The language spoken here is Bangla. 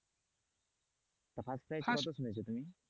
তা first price কত শুনেছো তুমি?